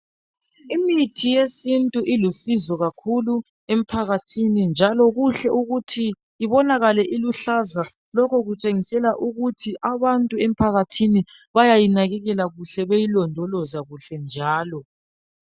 Imithi yesintu ilusizo kakhulu empakathini njalo kuhle ukuthi ibonakale iluhlaza lokhu kutshengisela ukuthi abantu empakathini bayayi nakekela kuhle beyilondoloza kuhle njalo